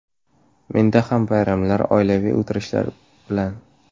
Menda ham bayramlar, oilaviy o‘tirishlar bilan.